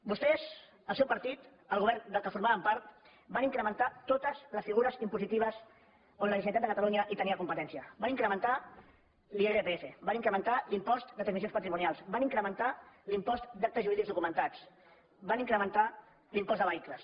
vostès el seu partit el govern del qual formaven part van incrementar totes les figures impositives en les quals la generalitat de catalunya tenia competència van incrementar l’irpf van incrementar l’impost de transmissions patrimonials van incrementar l’impost d’actes jurídics documentats van incrementar l’impost de vehicles